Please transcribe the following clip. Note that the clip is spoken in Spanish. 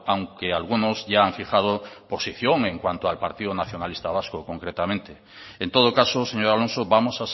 aunque algunos ya han fijado posición en cuanto al partido nacionalista vasco concretamente en todo caso señor alonso vamos